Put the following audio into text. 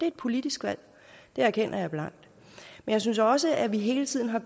et politisk valg det erkender jeg blankt men jeg synes også at vi hele tiden har